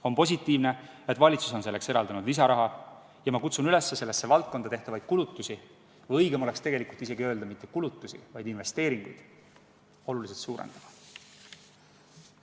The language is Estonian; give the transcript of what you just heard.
On positiivne, et valitsus on selleks eraldanud lisaraha, ja ma kutsun üles sellesse valdkonda tehtavaid kulutusi – tegelikult oleks isegi õigem öelda investeeringuid – oluliselt suurendama.